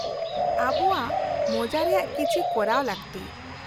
-ᱟᱵᱚᱣᱟᱜ ᱢᱚᱡᱟ ᱨᱮᱭᱟᱜ ᱠᱤᱪᱷᱤ ᱠᱚᱨᱟᱣ ᱞᱟᱹᱠᱛᱤ ᱾